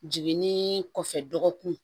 Jiginni kɔfɛ dɔgɔkun